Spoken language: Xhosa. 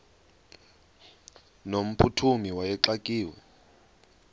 no mphuthumi wayexakiwe